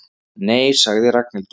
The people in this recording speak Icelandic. Nei sagði Ragnhildur.